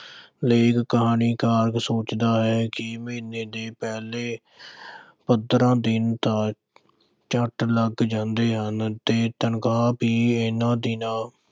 ਲੇਖਕ ਕਹਾਣੀਕਾਰ ਸੋਚਦਾ ਹੈ ਕਿ ਮਹੀਨੇ ਦੇ ਪਹਿਲੇ ਪੰਦਰਾਂ ਦਿਨ ਤਾਂ ਝੱਟ ਲੰਘ ਜਾਂਦੇ ਹਨ ਤੇ ਤਨਖ਼ਾਹ ਵੀ ਇਹਨਾਂ ਦਿਨਾਂ